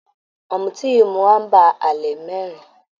Ọ̀mùtí yìí mu amber ale mẹ́rin.